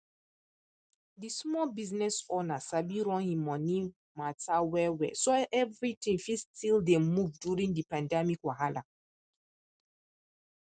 di small business owner sabi run him money matter wellwell so everything fit still dey move during di pandemic wahala